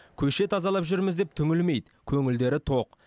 көше тазалап жүрміз деп түңілмейді көңілдері тоқ